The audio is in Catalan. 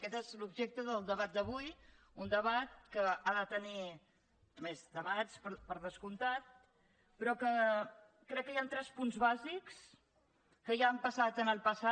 aquest és l’objecte del debat d’avui un debat que ha de tenir més debats per descomptat però que crec que hi han tres punts bàsics que ja han passat en el passat